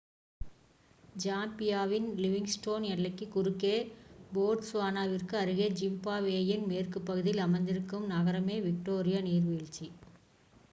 ஜாம்பியாவின் Livingstone எல்லைக்கு குறுக்கே போட்ஸ்வானாவிற்கு அருகே ஜிம்பாப்வேயின் மேற்கு பகுதியில் அமைந்திருக்கும் நகரமே விக்டோரியா நீர்வீழ்ச்சி